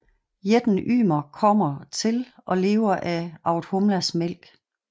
Jætten Ymer kommer til og lever af Audhumlas mælk